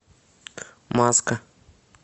маска